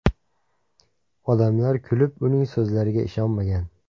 Odamlar kulib, uning so‘zlariga ishonmagan.